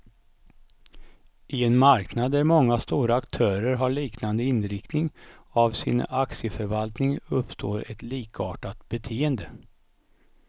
I en marknad där många stora aktörer har liknande inriktning av sin aktieförvaltning, uppstår ett likartat beteende.